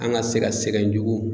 An ka se ka sɛgɛn jugu